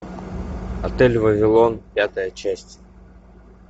отель вавилон пятая часть